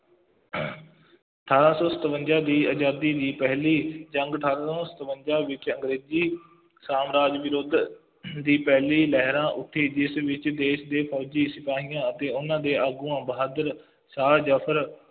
ਅਠਾਰਾਂ ਸੌ ਸਤਵੰਜ਼ਾ ਦੀ ਆਜ਼ਾਦੀ ਦੀ ਪਹਿਲੀ ਜੰਗ, ਅਠਾਰਾਂ ਸੌਂ ਸਤਵੰਜ਼ਾ ਵਿੱਚ ਅੰਗਰੇਜ਼ੀ ਸਾਮਰਾਜ ਵਿਰੁੱਧ ਦੀ ਪਹਿਲੀ ਲਹਿਰਾਂ ਉੱਠੀ, ਜਿਸ ਵਿੱਚ ਦੇਸ਼ ਦੇ ਫੌਜੀ ਸਿਪਾਹੀਆਂ ਅਤੇ ਉਹਨਾ ਦੇ ਆਗੂਆਂ ਬਹਾਦਰ ਸ਼ਾਹ ਜ਼ਫਰ